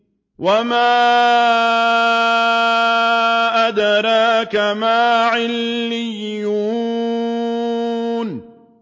وَمَا أَدْرَاكَ مَا عِلِّيُّونَ